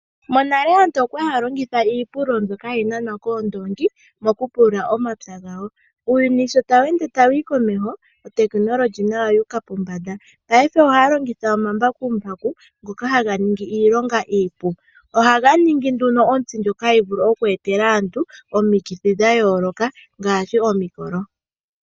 Monale aantu okwa li haa longitha iipululo mbyoka hayi nanwa koondoongi mokupulula omapya gawo. Uuyuni sho tawu ende tawu yi komeho oteknologi nayo oyu uka pombanda, paife ohaa longitha omambakumbaku ngoka haga ningi iilonga iipu. Ohaga ningi nduno ontsi ndjoka hayi vulu oku etela aantu omikithi dha yooloka ngaashi omikolo.